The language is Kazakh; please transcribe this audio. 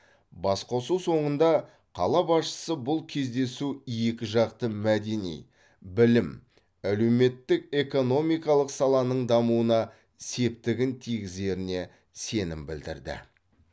басқосу соңында қала басшысы бұл кездесу екіжақты мәдени білім әлеуметтік экономикалық саланың дамуына септігін тигізеріне сенім білдірді